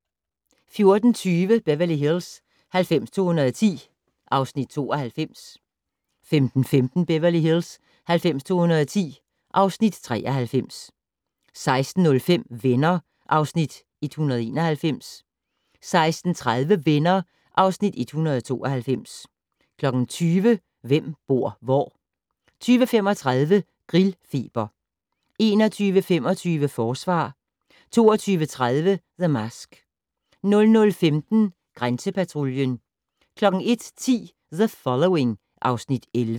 14:20: Beverly Hills 90210 (Afs. 92) 15:15: Beverly Hills 90210 (Afs. 93) 16:05: Venner (Afs. 191) 16:30: Venner (Afs. 192) 20:00: Hvem bor hvor? 20:35: Grillfeber 21:25: Forsvar 22:30: The Mask 00:15: Grænsepatruljen 01:10: The Following (Afs. 11)